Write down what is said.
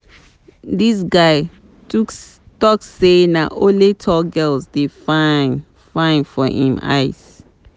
Dis guy tok sey na only tall girls dey fine fine for im eyes.